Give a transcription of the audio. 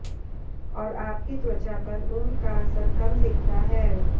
और आपकी त्वचा पर उम्र का असर कम दिखता है